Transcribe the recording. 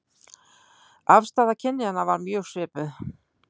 Afstaða kynjanna var mjög svipuð